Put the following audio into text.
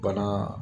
Bana